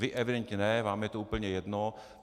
Vy evidentně ne, vám je to úplně jedno.